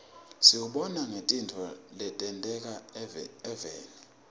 siwubona ngetintfo letenteka evfni